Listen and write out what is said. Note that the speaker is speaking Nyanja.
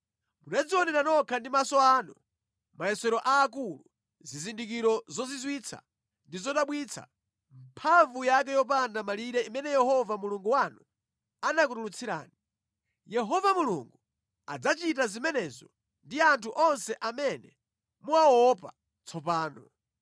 Munadzionera nokha ndi maso anu mayesero aakulu, zizindikiro zozizwitsa ndi zodabwitsa, mphamvu yake yopanda malire imene Yehova Mulungu wanu anakutulutsirani. Yehova Mulungu adzachita zimenezo ndi anthu onse amene muwaopa tsopano.